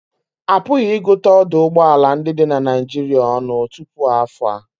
A pụghị ịgụta ọdụ ụgbọ ala ndị dị na Naịjirịa ọnụ tupu afọ a